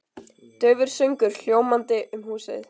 Daufur söngur hljómandi um húsið.